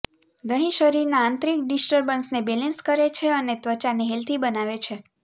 દહીં શરીરના આંતરિક ડિસ્ટર્બન્સને બેલેન્સ કરે છે અને ત્વચાને હેલ્ધી બનાવે છે